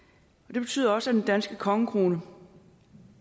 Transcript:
det betyder også at den danske kongekrone